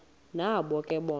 nabo ke bona